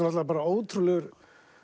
ótrúlegur